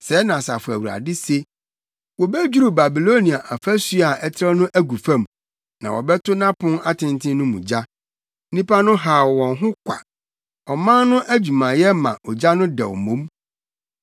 Sɛɛ na Asafo Awurade, se: “Wobedwiriw Babilonia afasu a ɛtrɛw no agu fam na wɔbɛto nʼapon atenten no mu gya; nnipa no haw wɔn ho kwa, ɔman no adwumayɛ ma ogya no dɛw mmom.”